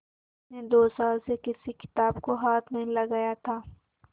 उसने दो साल से किसी किताब को हाथ नहीं लगाया था